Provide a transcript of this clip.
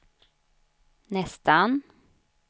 nästan